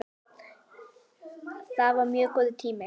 Það var mjög góður tími.